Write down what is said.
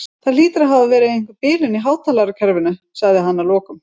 Það hlýtur að hafa verið einhver bilun í hátalarakerfinu sagði hann að lokum.